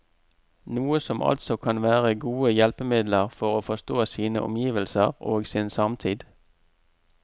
Noe som altså kan være gode hjelpemidler for å forstå sine omgivelser og sin samtid.